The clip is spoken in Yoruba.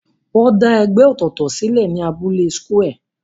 Wọ́n dá ẹgbẹ́ ọ̀tọ̀ọ̀tọ̀ sílẹ̀ ní abúlé square.